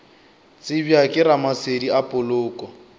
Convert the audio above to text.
tsebja ke ramasedi a poloko